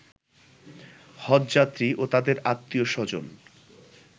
হজ্বযাত্রী ও তাদের আত্মীয় স্বজন